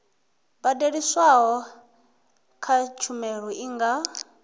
badeliswaho kha tshumelo i nga